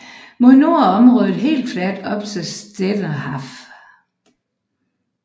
Mod nord er området helt fladt op til Stettiner Haff